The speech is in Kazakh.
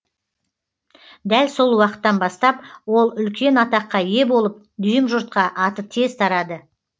дәл сол уақыттан бастап ол үлкен атаққа ие болып дүйім жұртқа аты тез тарады